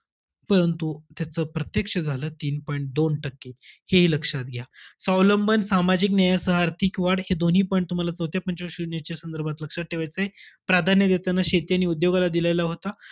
परंतु, त्याच प्रत्यक्ष झालं तीन point दोन टक्के, हेहि लक्षात घ्या. स्वावलंबन सामाजिक न्यायासह आर्थिक वाढ, हे दोन्ही point तुम्हाला चौथ्या पंच वार्षिक योजनेच्या संदर्भात लक्षात ठेवायचेय. प्राधान्य देताना शेती आणि उद्योगाला दिलेला होता.